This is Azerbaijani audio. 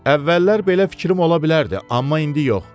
Əvvəllər belə fikrim ola bilərdi, amma indi yox.